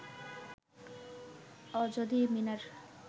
অজদী মিনার